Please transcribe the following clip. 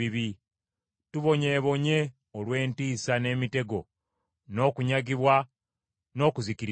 Tubonyeebonye olw’entiisa n’emitego n’okunyagibwa n’okuzikirizibwa.”